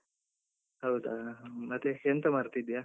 ಹೌದಾ, ಹ್ಮ್ ಮತ್ತೆ ಎಂತ ಮಾಡ್ತಿದ್ದೀಯಾ?